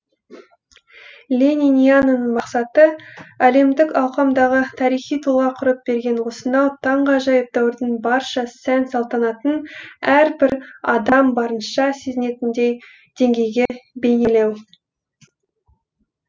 лениниананың мақсаты әлемдік ауқамдағы тарихи тұлға құрып берген осынау таңғажайып дәуірдің барша сән салтанатын әрбір адам барынша сезінетіндей деңгейде бейнелеу